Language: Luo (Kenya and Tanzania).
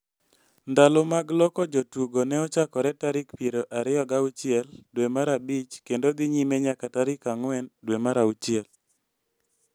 Ndalo mag loko jotugo ne ochakore tarik piero ariyo gi auchiel dwe mar abich kendo dhi nyime nyaka tarik ang'wen dwe mar auchiel.